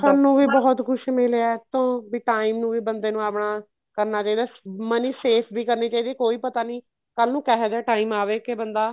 ਖਾਣ ਨੂੰ ਵੀ ਬਹੁਤ ਕੁੱਝ ਮਿਲਿਆ ਤੋਂ ਬੀ time ਨੂੰ ਵੀ ਬੰਦੇ ਨੂੰ ਆਪਣਾ ਕਰਨਾ ਚਾਹੀਦਾ money safe ਵੀ ਕਰਨੀ ਚਾਹੀਦੀ ਏ ਕੋਈ ਪਤਾ ਨੀ ਕੱਲ ਨੂੰ ਕਹਿ ਜਾ time ਆਵੇ ਕੀ ਬੰਦਾ